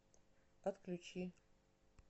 отключи